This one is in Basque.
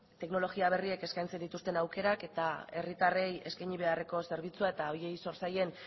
teknologia berriek eskaintzen dituzten aukerak eta herritarrei eskaini beharreko zerbitzua eta horiei zor zaien